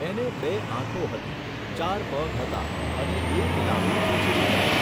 એને બે આંખો હતી, ચાર પગ હતા, અને એક લાંબી પૂંછડી હતી.